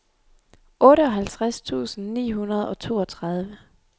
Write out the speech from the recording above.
otteoghalvtreds tusind ni hundrede og toogtredive